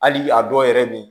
Hali a dɔw yɛrɛ bɛ ye